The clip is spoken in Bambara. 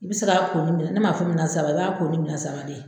I bɛ se ka ko ni minɛ ne m'a fɔ minɛ saba i b'a ko nin minɛ saba de